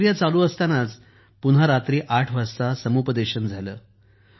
ती प्रक्रिया चालू असतानाच पुन्हा रात्री ८ वाजता समुपदेशन पुन्हा झालं